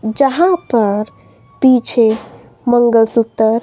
जहां पर पीछे मंगलसूतर --